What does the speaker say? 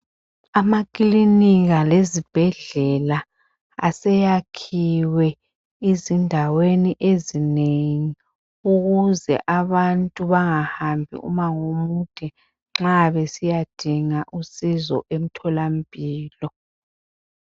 Amaklinika lezibhedlela aseyakhiwe izindaweni ezinengi. Ukuze abantu bangahambi umangomude nxa besiyadinga usizo emtholampilo.